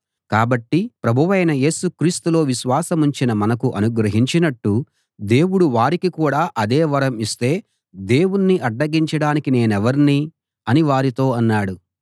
కాబట్టి ప్రభువైన యేసు క్రీస్తులో విశ్వాసముంచిన మనకు అనుగ్రహించినట్టు దేవుడు వారికి కూడా అదే వరం ఇస్తే దేవుణ్ణి అడ్డగించడానికి నేనెవర్ని అని వారితో అన్నాడు